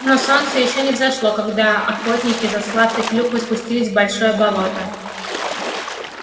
но солнце ещё не взошло когда охотники за сладкой клюквой спустились в большое болото